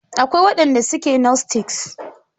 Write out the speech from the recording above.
Akwai wadanda suke gnostics.